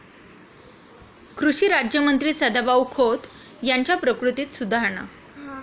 कृषी राज्यमंत्री सदाभाऊ खोत यांच्या प्रकृतीत सुधारणा